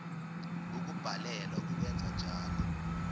ukubhalelwa kukwenza njalo